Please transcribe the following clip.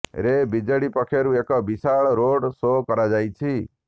ରେ ବିଜେଡ଼ି ପକ୍ଷରୁ ଏକ ବିଶାଳ ରୋଡ଼ ସୋ କରାଯାଇଛି